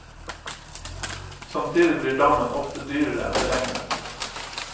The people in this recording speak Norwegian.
Samtidig blir dammen ofte dyrere enn beregnet.